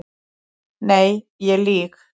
Nei ég lýg.